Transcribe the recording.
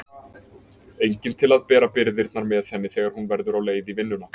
Enginn til að bera byrðarnar með henni þegar hún verður leið á vinnunni.